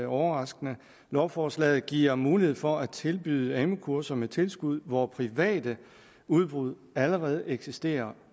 overraskende lovforslaget giver mulighed for at tilbyde amu kurser med tilskud hvor private udbud allerede eksisterer